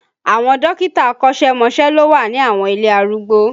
Àwọn dókítà akọ́sẹ́mọsẹ́ ló wà ní àwọn ilé arúgbó